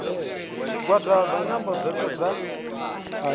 zwigwada zwa nyambo dzothe dza